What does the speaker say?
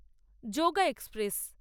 yoga express